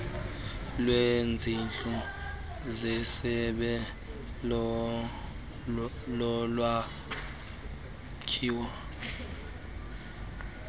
lwezindlu zesebe lolwakhiwo